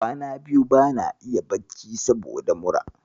Kwana biyu bana iya bacci saboda mura.